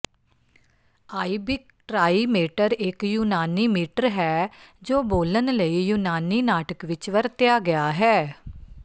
iambic trimeter ਇੱਕ ਯੂਨਾਨੀ metre ਹੈ ਜੋ ਬੋਲਣ ਲਈ ਯੂਨਾਨੀ ਨਾਟਕ ਵਿੱਚ ਵਰਤਿਆ ਗਿਆ ਹੈ